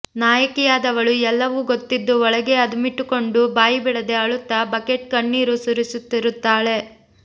ನಾಯಕಿಯಾದವಳು ಎಲ್ಲವೂ ಗೊತ್ತಿದ್ದೂ ಒಳಗೇ ಅದುಮಿಟ್ಟುಕೊಂಡು ಬಾಯಿಬಿಡದೆ ಅಳುತ್ತ ಬಕೆಟ್ ಕಣ್ಣೀರು ಸುರಿಸುತ್ತಿರುತ್ತಾಳೆ